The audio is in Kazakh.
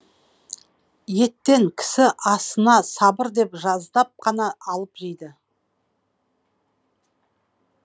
еттен кісі асына сабыр деп қана алып жейді